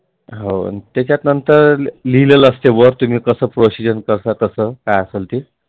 हो त्याच्यानंतर लिहिलेल असतं तुम्ही कसं Procedure करता तसं काय असलं ते.